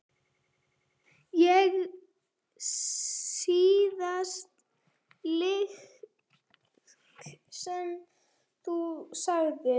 Síðasta lygi sem þú sagðir?